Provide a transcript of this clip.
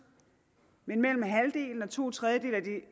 men mellem halvdelen og to tredjedele af de